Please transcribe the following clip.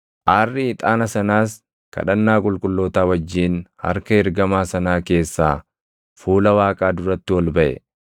Aarri ixaana sanaas kadhannaa qulqullootaa wajjin harka ergamaa sanaa keessaa fuula Waaqaa duratti ol baʼe.